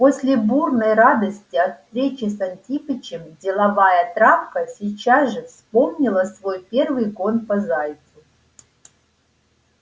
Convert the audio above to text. после бурной радости от встречи с антипычем деловая травка сейчас же вспомнила свой первый гон по зайцу